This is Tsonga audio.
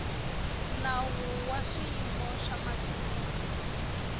nawu wa swiyimo swa masungulo